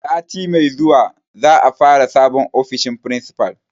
Sati mai zuwa za a fara sabon ofishin principal.